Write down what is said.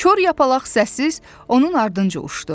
Kor yapalaq səssiz onun ardınca uçdu.